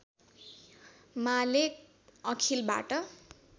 माले अखिलबाट